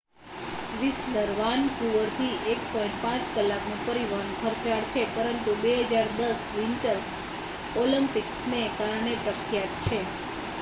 Whistler વાનકુવરથી 1.5 કલાકનું પરિવહન ખર્ચાળ છે પરંતુ 2010 વિન્ટર ઓલિમ્પ્કિસને કારણે પ્રખ્યાત છે